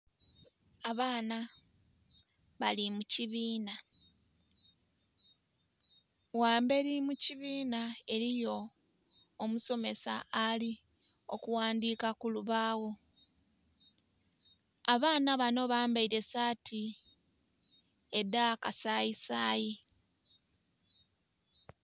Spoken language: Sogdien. Abaana bali mu kibiina. Ghambeli mu kibiina eliyo omusomesa ali okuwandiika ku lubaawo. Abaana bano bambaile saati edha kasayisayi.